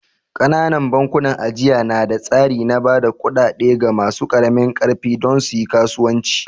Ƙananan bankunan ajiya na da tsari na ba da kuɗaɗe ga masu ƙaramin ƙarfi don su yi kasuwanci